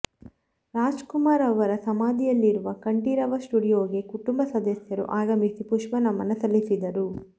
ರಾಜ್ಕುಮಾರ್ ಅವರ ಸಮಾಧಿಯಿರುವ ಕಂಠೀರವ ಸ್ಟುಡಿಯೋಗೆ ಕುಟುಂಬ ಸದಸ್ಯರು ಆಗಮಿಸಿ ಪುಷ್ಪ ನಮನ ಸಲ್ಲಿಸಿದರು